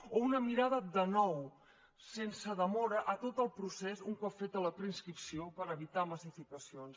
o una mirada de nou sense demora a tot el procés un cop feta la preinscripció per evitar massificacions